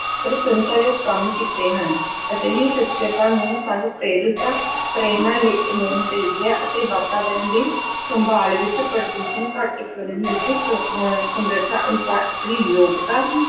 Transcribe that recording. ਪ੍ਰਸੰਸਾਯੋਗ ਕੰਮ ਕੀਤੇ ਹਨ, ਅਜਿਹੀ ਸ਼ਖ਼ਸੀਅਤਾਂ ਨੂੰ ਸਾਨੂੰ ਪ੍ਰੇਰਿਤਾ ਪ੍ਰੇਰਨਾ ਲੈ~ ਲੈਣੀ ਚਾਹੀਦੀ ਹੈ ਅਤੇ ਵਾਤਾਵਰਨ ਦੀ ਸੰਭਾਲ ਵਿੱਚ ਪ੍ਰਦੂਸ਼ਣ ਘੱਟ ਕਰਨ ਦੇ ਵਿੱਚ ਸ~ ਅਹ ਸਮਰੱਥਾ ਅਨੁਸਾਰ ਆਪਣੀ ਯੋਗਤਾ